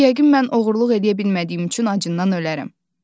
Yəqin mən oğurluq eləyə bilmədiyim üçün acından ölərəm.